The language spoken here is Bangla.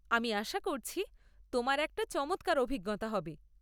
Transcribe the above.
আমি আশা করছি তোমার একটা চমৎকার অভিজ্ঞতা হবে।